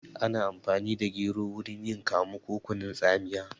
Ana amfani da gero wurin yin kamu ko kunun tsamiya